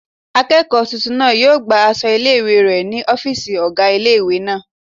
Akẹ́kọ̀ọ́ tuntun náà yóò gba aṣọ ilé-ìwé rẹ̀ ní ọ́fìsì ọgá ilé-ìwé náà